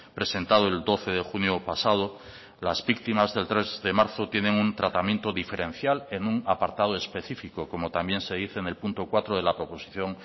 presentado el doce de junio pasado las víctimas del tres de marzo tienen un tratamiento diferencial en un apartado específico como también se dice en el punto cuatro de la proposición